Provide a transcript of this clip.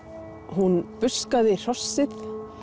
hún hrossið